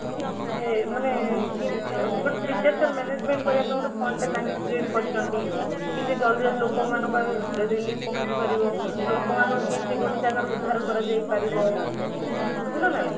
ଯେ ମାନେ ଅମ୍ disaster management କରିବା ପାଇଁ ଗୋଟେ fund ଟେ ତଙ୍କେ create କରିଛନ୍ତି କେମିତି ଜଲ୍ଦି ଜଲ୍ଦି ଲୋକ ମାନଙ୍କୁ ଆଗ relief ପହଞ୍ଚି ପାରିବ, ଲୋକ ମାନଙ୍କୁ କେମିତି ଗୋଟେ ଜାଗାଋ ଉଦ୍ଧାର କରା ଯାଇ ପାରିବ, ବୁଝିଲ ନା ନାହିଁ?